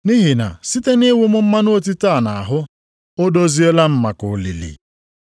Nʼihi na site nʼịwụ m mmanụ otite a nʼahụ, o doziela m maka olili.